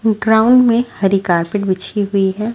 Ground में हरी carpet बिछी हुई है।